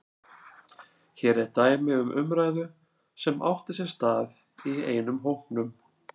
Hér er dæmi um umræðu sem átti sér stað í einum hópnum